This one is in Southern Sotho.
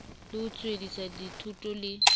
le ho tswellisa dithoto le